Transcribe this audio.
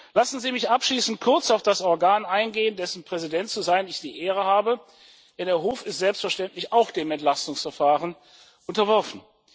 Lassen Sie mich abschließend kurz auf das Organ eingehen, dessen Präsident zu sein ich die Ehre habe, denn der Hof ist selbstverständlich auch dem Entlastungsverfahren unterworfen.